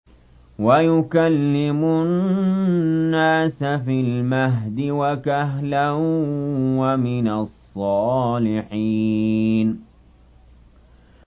وَيُكَلِّمُ النَّاسَ فِي الْمَهْدِ وَكَهْلًا وَمِنَ الصَّالِحِينَ